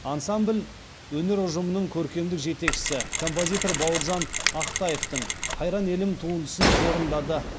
ансамбль өнер ұжымының көркемдік жетекшісі композитор бауыржан ақтаевтың қайран елім туындысын орындады